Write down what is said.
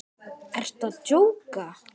Ertu að djóka!?